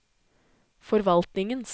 forvaltningens